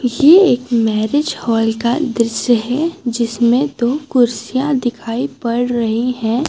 ये एक marriage hall का दृश्य है जिसमें दो कुर्सियां दिखाई पड़ रही हैं।